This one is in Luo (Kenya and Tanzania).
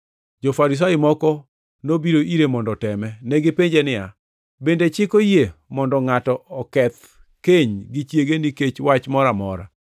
Jo-Farisai moko nobiro ire mondo oteme. Negipenje niya, “Bende chik oyie mondo ngʼato oketh keny gi chiege nikech wach moro amora?”